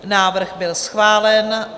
Návrh byl schválen.